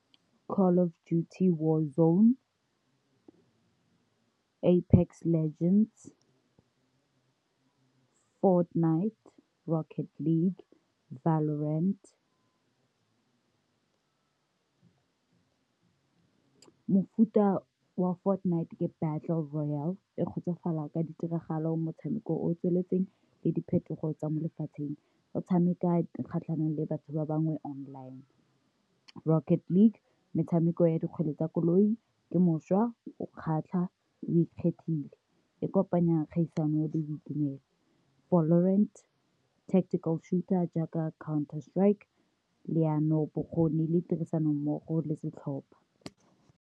Call of duty war zone, Apex legends, Fortnite Rocket league, Valorant, mofuta wa Fortnite ke Battle royale, e kgotsofala ka ditiragalo motshameko o o tsweletseng le diphetogo tsa molefatsheng, o tshameka kgatlhanong le batho ba bangwe online. Rocket league, metshameko ya dikgwele tsa koloi ke mošwa o kgatlha o ikgethile e kopanyang kgaisano le boitumelo. Valorant, Tactical shooter, jaaka Counter strike, leano, bokgoni le tirisano mmogo le setlhopha.